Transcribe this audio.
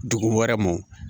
Dugu wɛrɛ mɔ